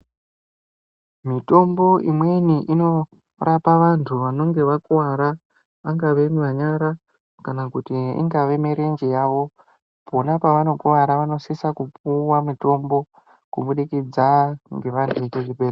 Mitombo imweni inorapa vantu vanonge vakuwara. Pangawe panyara kana kuti ingave mirenje yawo. Pona pavanokuwara vanosisa kupuwa mitombo kubudikidza ngevantu vekuchibhedhleya.